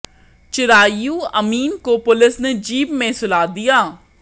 चिरायु अमीन को पुलिस ने जीप में सुला दिया